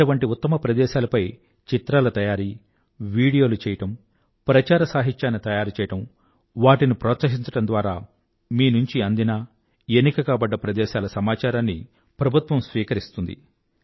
అటువంటి ఉత్తమ ప్రదేశాలపై చిత్రాల తయారీ వీడియోలు చేయడం ప్రచారసాహిత్యాన్ని తయారు చెయ్యడం వాటిని ప్రోత్సహించడం ద్వారా మీ నుంచి అందిన ఎన్నిక కాబడ్డ ప్రదేశాల సమాచారాన్ని ప్రభుత్వం స్వీకరిస్తుంది